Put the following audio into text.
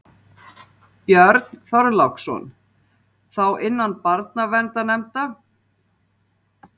Björn Þorláksson: Þá innan barnaverndarnefnda?